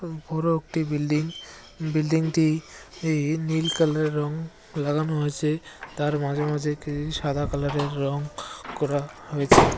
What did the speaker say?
ও বড়ো একটি বিল্ডিং । বিল্ডিংটি ই নীল কালারের রং লাগানো আছে। তার মাঝে মাঝে একটি সাদা কালার -এর রং করা হয়েছে।